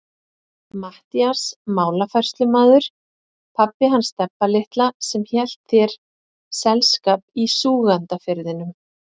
Matthías málafærslumaður, pabbi hans Stebba litla sem hélt þér selskap í Súgandafirðinum.